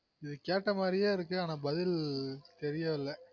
கேட்டாமாரியயே இருக்கு ஆனா பதில் தெரியல